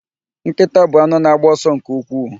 Nkịta bụ anụ na-agba ọsọ nke ukwuu.